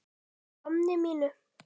Bara að gamni mínu.